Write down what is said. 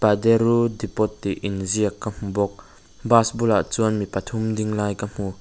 depot tih inziak ka hmu bawk bus bulah chuan mi pathum ding lai ka hmu --